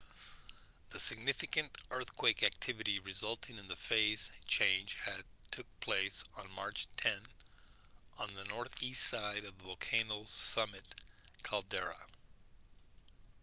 the significant earthquake activity resulting in the phase change had took place on march 10 on the northeast side of the volcano's summit caldera